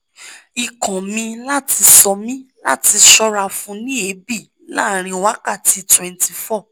ikun mi lati san mi lati ṣọ́ra fun ni ebi laàrin wákàtí twenty four